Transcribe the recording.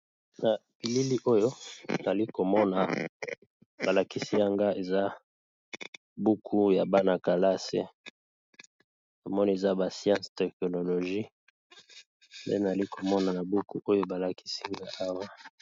Na bilili oyo nali komona balakisi yanga eza buku ya bana-kalase, namoni eza ba science technologie mpe nali komona na buku oyo balakisinga awa.